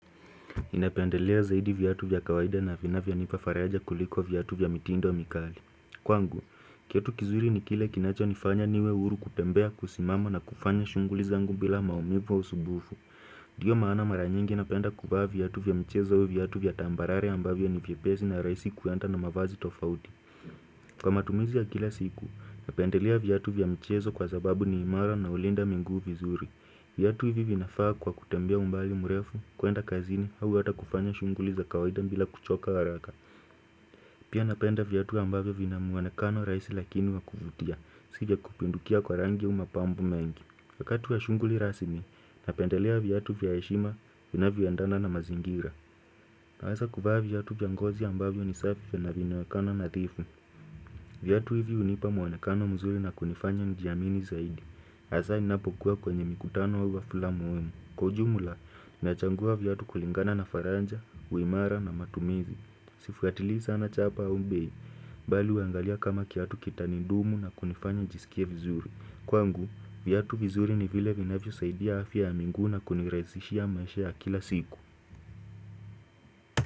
Inapendelea zaidi vyatu vya kawaida na vina vya nifafaraja kuliko vyatu vya mitindo wa mikali Kwangu, kitu kizuri ni kile kinacho nifanya niwe uru kutembea kusimamo na kufanya shunguli zangu bila maumibu wa usubufu Diyo maana mara nyingi inapenda kubaa viatu vya mchezo uvyatu vya tambarare ambavyo ni vypezi na raisi kuenta na mavazi tofauti Kwa matumizi ya kila siku, inapendelea vyatu vya mchezo kwa zababu ni imara na ulinda mingu vizuri Viatu hivi vinafaa kwa kutambia umbali murefu kuenda kazini au wata kufanya shunguli za kawaida mbila kuchoka haraka. Pia napenda vyatu ambavyo vina muwanekano raisi lakini wakuvutia, sivya kupindukia kwa rangi umapambu mengi. Wakatu wa shunguli rasimi, napendelea vyatu vya yeshima vina vya ndana na mazingira. Nawasa kufaa vyatu piangozia ambavyo ni safi vya na vinawekano na tifu. Vyatu hivi unipa muwanekano mzuri na kunifanya njiamini zaidi. Asa inapokuwa kwenye mikutano wa flamu emu Kujumula, nachangua vyatu kulingana na faranja, uimara na matumizi Sifikatiliza anachapa umbei Bali uangalia kama kiatu kitanidumu na kunifanya jisikia vizuri Kwangu, vyatu vizuri ni vile vinafyo saidia hafi ya minguna kunirazishia mashe ya kila siku.